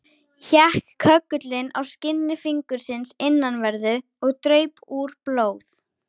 Hékk köggullinn á skinni fingursins innanverðu, og draup úr blóð.